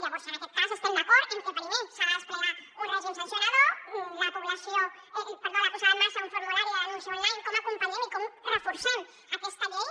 llavors en aquest cas estem d’acord en que primer s’ha de desplegar un règim sancionador la posada en marxa d’un formulari de denúncia online com acompanyem i com reforcem aquesta llei